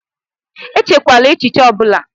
Echikwala echichi ọbula!